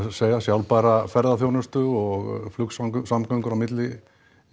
segja sjálfbæra ferðaþjónustu og flugsamgöngur á milli